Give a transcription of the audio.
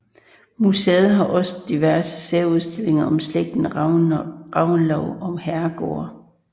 Museet har også diverse særudstillinger om slægten Reventlow og herregårde